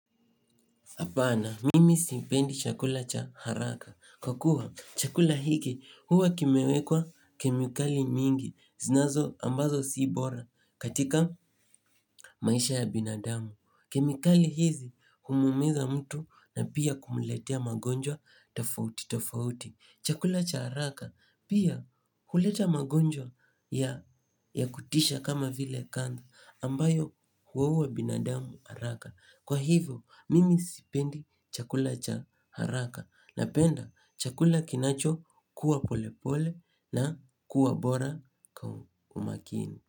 Hapana mimi sipendi chakula cha haraka. Kwa kuwa, chakula hiki huwa kimewekwa kemikali mingi. Ambazo si bora katika maisha ya binadamu. Kemikali hizi humumiza mtu na pia kumletea magonjwa tofauti tofauti. Chakula cha haraka pia huleta magonjwa ya kutisha kama vile kansa ambayo huwa uwa binadamu haraka. Kwa hivyo mimi sipendi chakula cha haraka napenda chakula kinacho kuwa pole pole na kuwa bora kwa umakini.